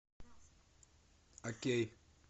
окей